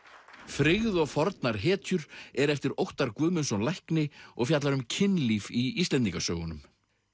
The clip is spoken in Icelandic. frygð og fornar hetjur er eftir Óttar Guðmundsson lækni og fjallar um kynlíf í Íslendingasögunum